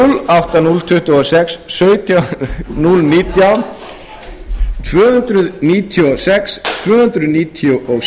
átta núll tuttugu og sex sautján núll nítján tvö hundruð níutíu og sex tvö hundruð níutíu og sjö tuttugu